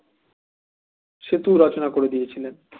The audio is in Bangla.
সেতু রচনা করে দিয়েছিলেন